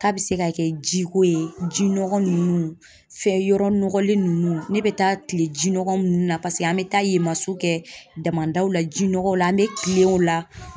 K'a be se ka kɛ ji ko ye, ji nɔgɔ nunnu fɛn yɔrɔ nɔgɔlen nunnu, ne be taa kile jinɔgɔ nunnu na ,paseke an be taa yen maso kɛ damadaw la ji nɔgɔw la an be kilen o la